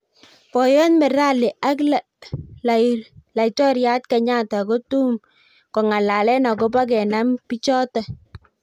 boyot merali ak lairoriat Kenyatta kotum kongalane akobo kenam bichoto